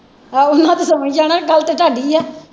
ਆਹੋ ਇਹਨਾਂ ਸੋਂ ਹੀ ਜਾਣਾ ਗੱਲ ਤੇ ਤੁਹਾਡੀ ਹੈ।